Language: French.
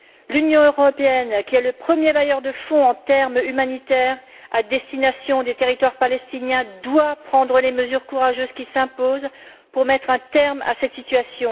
L'Union européenne, qui est le premier bailleur de fonds pour l'aide humanitaire à destination des territoires palestiniens, doit prendre les mesures courageuses qui s'imposent pour mettre un terme à cette situation.